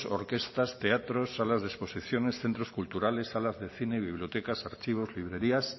orquestas teatros salas de exposiciones centros culturales salas de cine bibliotecas archivos librerías